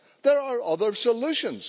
There are other solutions.